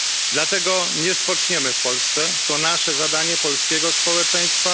Dlatego nie spoczniemy w Polsce to nasze zadanie, polskiego społeczeństwa.